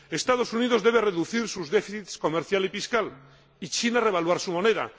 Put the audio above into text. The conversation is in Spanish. Los Estados Unidos deben reducir sus déficits comercial y fiscal y China revaluar su moneda.